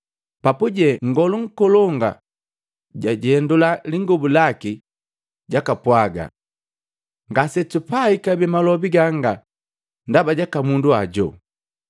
Papuje Nngolu Nkolongu jwajendula lingobu laki, jakapwaaga, “Ngasetupai kabee malobi gangi ndaba jaka mundu hojo?